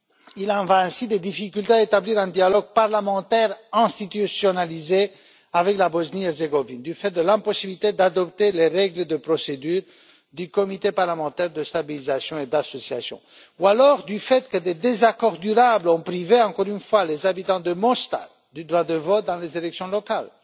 Il en va ainsi des difficultés à établir un dialogue parlementaire institutionnalisé avec la Bosnie Herzégovine du fait de l'impossibilité d'adopter les règles de procédure du comité parlementaire de stabilisation et d'association, ou du fait que des désaccords durables ont privé, encore une fois, les habitants de Mostar du droit de vote dans les élections locales.